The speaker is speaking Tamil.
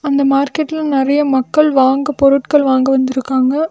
இந்த மார்க்கெட்ல நறைய மக்கள் வாங்க பொருட்கள் வாங்க வந்துருக்காங்க.